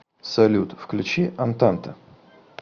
салют включи антанта